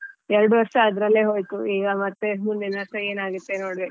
ಎರಡು ವರ್ಷ ಅದ್ರಲ್ಲೇ ಹೋಯ್ತು ಈಗ ಮತ್ತೆ ಮುಂದಿನ ವರ್ಷ ಏನಾಗುತ್ತೆ ನೋಡ್ಬೇಕು.